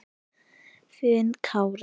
Þinn Kári.